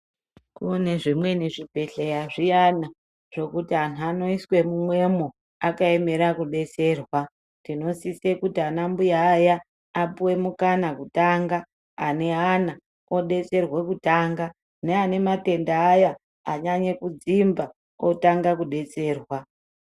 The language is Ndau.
Kune zvimweni zvi bhehleya zviyana zvokuti anhu anoiswe mumwemo akaemera kubetserwa tino sise kuti anambuya aya apuwe mukana kutanga ane ana obetserwa kutanga ne ane matenda aya anyanya kudzimba otanga kubetserwa.